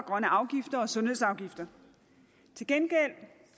afgifter og sundhedsafgifter til gengæld